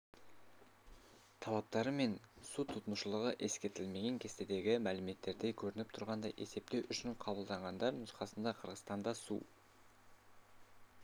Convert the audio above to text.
талаптары мен су тұтынушылығы ескерілмеген кестедегі мәліметтерде көрініп тұрғандай есептеу үшін қабылданғандар нұсқасында қырғызстанда су